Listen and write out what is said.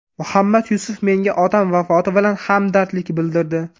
Muhammad Yusuf menga otam vafoti bilan hamdardlik bildirdi.